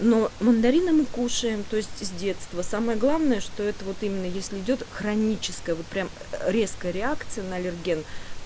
ну мандарины мы кушаем то есть с детства самое главное что это вот именно если идёт хроническое вот прям резкая реакция на аллерген